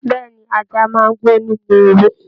Bẹẹni, ajá máa n gbó nínú ewu.